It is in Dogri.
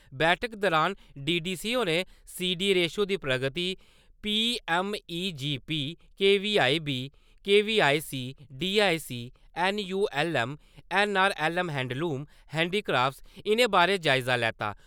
बैठका दौरान डीडीसी होरें सीडी रेशो दी प्रगति, P M E G P K V I B, K V I C, D I C, N U L M, N R L M handloom, handicraft, इ'नें बारे जायज़ा लैता ।